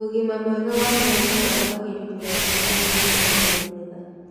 Ũgima mwega wa magego wambagĩrĩria na ũmenyo na ũrori mwega